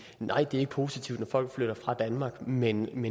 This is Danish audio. nej det er ikke positivt når folk flytter fra danmark men